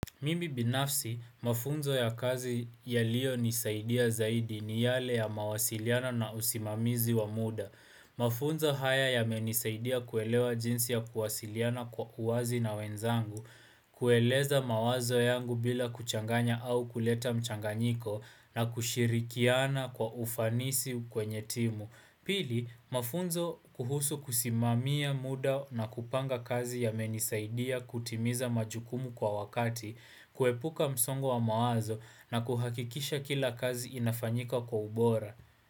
Mimi binafsi, mafunzo ya kazi yaliyo nisaidia zaidi ni yale ya mawasiliano na usimamizi wa muda. Mafunzo haya yamenisaidia kuelewa jinsi ya kuwasiliana kwa uazi na wenzangu, kueleza mawazo yangu bila kuchanganya au kuleta mchanganyiko na kushirikiana kwa ufanisi kwenye timu. Pili, mafunzo kuhusu kusimamia muda na kupanga kazi yamenisaidia kutimiza majukumu kwa wakati kuepuka msongo wa mawazo na kuhakikisha kila kazi inafanyika kwa ubora.